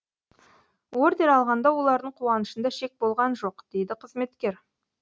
ордер алғанда олардың қуанышында шек болған жоқ дейді қызметкер